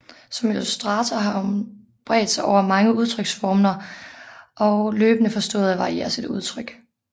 Som illustrator har hun bredt sig over mange udtryksformer og har løbende forstået at variere sit udtryk